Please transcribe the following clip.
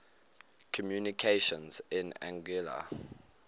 communications in anguilla